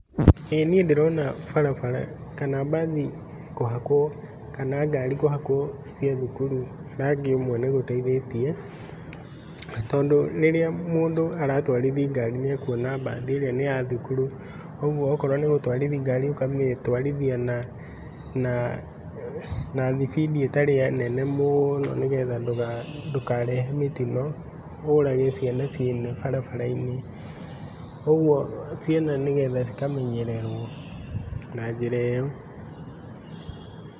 ĩĩ niĩ ndĩrona barabara kana mbathi kũhakwo kana ngari kũhakwo cia thukuru rangi ũmwe nĩgũteithĩtie. Tondũ rĩrĩa mũndũ aratwarithi ngari nĩakwona mbathi ĩrĩa nĩya thukuru. ũguo okorwo nĩgũtwarithia ngari ũkamĩtwarithia na na nathibindi ĩtarĩ nene mũno nĩgetha ndũkarehe mĩtino, ũrage ciana ciene barabara-inĩ. ũguo nĩgetha ciana cikamenyererwo na njĩra ĩo.